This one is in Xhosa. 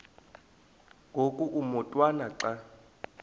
ngoku umotwana xa